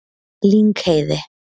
Lyngheiði